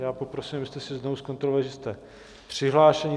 Já poprosím, abyste si znovu zkontrolovali, zda jste přihlášeni.